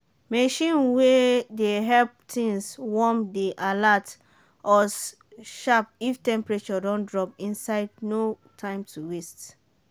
machine way dey help things warm dey alert us sharp if temperature drop inside no time to waste.